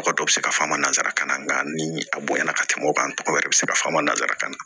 Mɔgɔ dɔ bɛ se ka f'a ma nanzara kan na nka ni a bonyana ka tɛmɛ o kan tɔgɔ wɛrɛ bɛ se ka f'a ma nanzarakan na